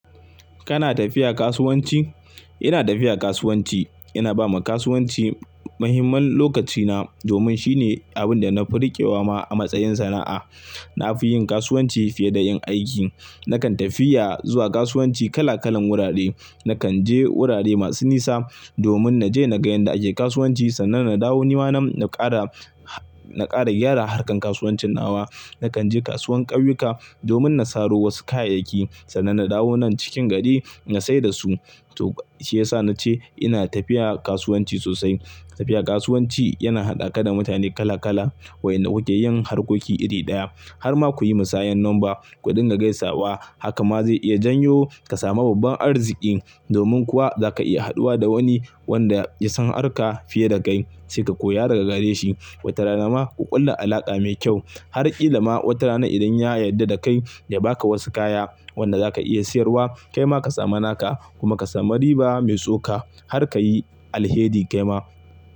Kana tafiya kasuwanci? Ina tafiya kasuwanci. Ina ba wa kasuwanci muhimman lokaci na domin shine abin da na fi riƙewa ma a matsayin sana'a. Na fi yin kasuwanci fiye da yin aiki. Nakan tafiya zuwa kasuwanci kala-kalan wurare. Nakan je wurare masu nisa domin na je na ga yadda ake kasuwanci sannan na dawo ni ma na ƙara, na ƙara gyara harkan kasuwancin nawa. Nakan je kasuwan ƙauyuka domin na saro wasu kayayyaki, sannan na dawo nan cikin gari na saida su. To shiyasa nace ina tafiya kasuwanci sosai. Tafiya kasuwanci yana haɗa ka da mutane kala-kala waɗan da kuke yin harkoki iri ɗaya. Har ma kuyi musayar lamba kuɗin ga gaisawa haka ma zai iya janyo ka samu babban arziki, domin kuwa zaka iya haduwa da wani wanda ya san harka fiye da kai sai ka koya daga gare shi. Wata rana ma ku ƙulla alaƙa mai kyau. Har ƙila ma wata rana idan ya yarda da kai ya baka wasu kaya wanda zaka iya siyarwa kaima ka samu naka kuma ka samu riba mai so ka har kayi alheri kaima.